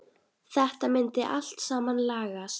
Þetta myndi allt saman lagast.